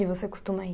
E você costuma ir?